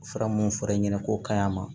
Fura mun fɔra e ɲɛna k'o ka ɲi a ma